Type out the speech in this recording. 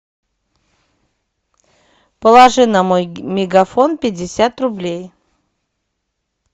положи на мой мегафон пятьдесят рублей